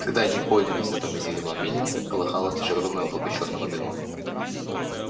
когда они поднялись на том месте где была мельница колыхалось лишь огромное облако чёрного дыма